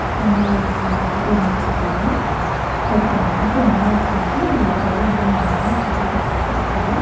அங்க நாலு அஞ்சு பேர் நின்னுட்ருக்காங்க ஒருத்தர் மரத்து மேல உக்காந்து ஒரு கைய ஊன்ன மாரி உக்காந்து போஸ் குடுத்துட்ருக்காரு.